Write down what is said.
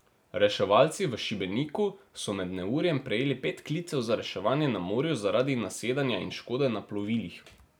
Reševalci v Šibeniku so med neurjem prejeli pet klicev za reševanje na morju zaradi nasedanja in škode na plovilih.